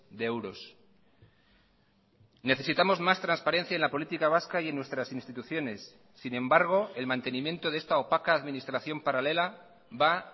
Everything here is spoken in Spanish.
de euros necesitamos más transparencia en la política vasca y en nuestras instituciones sin embargo el mantenimiento de esta opaca administración paralela va